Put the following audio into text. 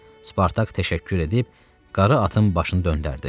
Spartak təşəkkür edib qara atın başını döndərdi.